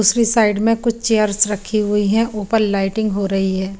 दूसरी साइड में कुछ चेयर्स रखी हुयी हे ऊपर लाइटिंग हो रही हैं।